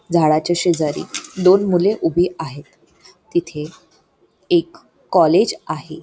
झाडाच्या शेजारी दोन मुले उभे आहेत तिथे एक कॉलेज आहे.